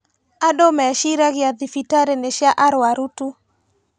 Andũ meciragia thibitarĩ nĩ cia arũaru tu